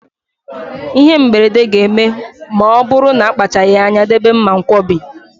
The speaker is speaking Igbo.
Ịhe mberede ga-eme ma ọ bụrụ na akpachaghị anya debe mmankwọbi.